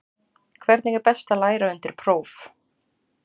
Hvernig er best að læra undir próf?